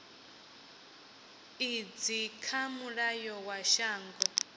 idzi kha mulayo wa shango